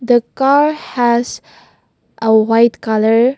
the car has a white colour.